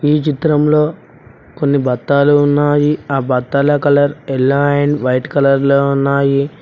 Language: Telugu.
ఈ చిత్రంలో కొన్ని బత్తాలు ఉన్నాయి ఆ బత్తల colour yellow and white colour లో ఉన్నాయి.